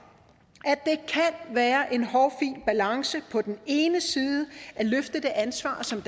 at være en hårfin balance på den ene side at løfte det ansvar som